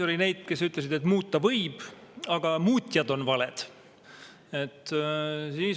Oli neid, kes ütlesid, et muuta võib, aga muutjad on valed.